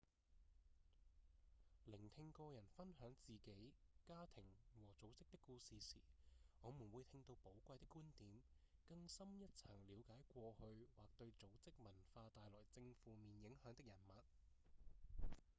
聆聽個人分享自己、家庭和組織的故事時我們會聽到寶貴的觀點更深一層了解過去或對組織文化帶來正負面影響的人物